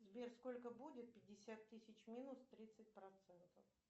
сбер сколько будет пятьдесят тысяч минус тридцать процентов